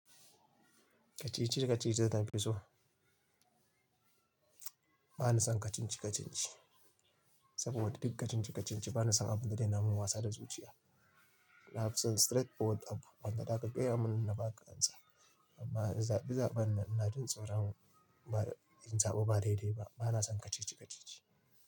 Kacici-kacici ne nafi so. Ba na son kacici-kacici, saboda duk kacici-kacici ba na son abun da yana min wasa da zuciya. Na fi son straight forward abu. Wannan da aka gaya mun na baƙa amsa. Amma zabe zaben, ina jin tsoron in zaɓa ba dai-dai ba. Ba na son kacici-kacici.